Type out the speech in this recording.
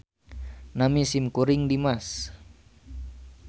Nami simkuring Dimas